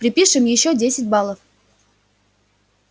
припишем ещё десять баллов